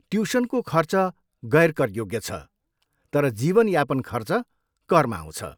ट्युसनको खर्च गैर कर योग्य छ, तर जीवन यापन खर्च करमा आउँछ।